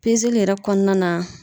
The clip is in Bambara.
Pezeli yɛrɛ kɔnɔna na